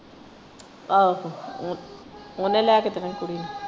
ਆਹੋ ਓਹਨੇ ਲੈ ਕੇ ਦੇਣਾ ਹੀ ਕੁੜੀ ਨੂੰ।